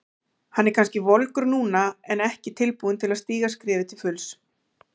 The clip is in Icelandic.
Hann er kannski volgur núna en ekki tilbúinn til að stíga skrefið til fulls.